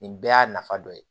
Nin bɛɛ y'a nafa dɔ ye